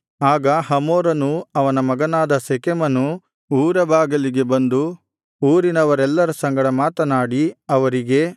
ಆಗ ಹಮೋರನೂ ಅವನ ಮಗನಾದ ಶೆಕೆಮನೂ ಊರ ಬಾಗಿಲಿಗೆ ಬಂದು ಊರಿನವರೆಲ್ಲರ ಸಂಗಡ ಮಾತನಾಡಿ ಅವರಿಗೆ